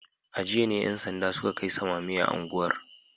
A jiya ne ‘yan sanda suka kai samame a unguwar